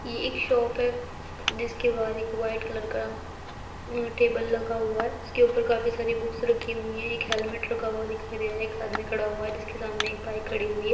ये इक शॉप है जिसके बाहर एक वाइट कलर का अ टेबल लगा हुआ है| उसके ऊपर काफी सारी बुक्स रखी हुई हैं एक हेलमेट रखा हुआ दिखाई दे रहा है एक आदमी खड़ा हुआ है जिसके सामने एक बाइक खड़ी हुई है।